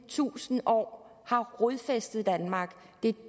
tusind år har rodfæstet sig i danmark det